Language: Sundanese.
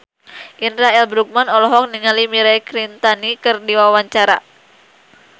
Indra L. Bruggman olohok ningali Mirei Kiritani keur diwawancara